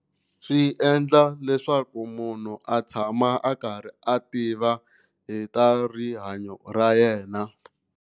Swi endla leswaku munhu a tshama a karhi a tiva hi ta rihanyo ra yena.